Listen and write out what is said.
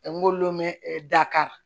n k'olu mɛn dakari